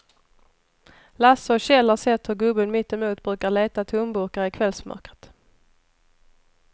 Lasse och Kjell har sett hur gubben mittemot brukar leta tomburkar i kvällsmörkret.